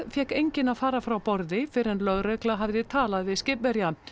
fékk enginn að fara frá borði fyrr en lögregla hafði talað við skipverja